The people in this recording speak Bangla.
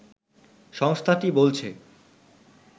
সংস্থাটি বলছে